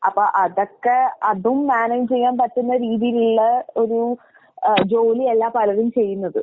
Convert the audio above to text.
അപ്പ അതൊക്കെ അതും മാനേജ് ചെയ്യാൻ പറ്റുന്ന രീതീലുള്ള ഒരു ഏഹ് ജോലിയല്ല പലരും ചെയ്യുന്നത്.